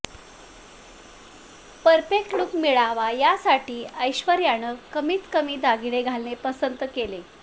perfect look मिळावा यासाठी ऐश्वर्यानं कमीत कमी दागिने घालणे पसंत केले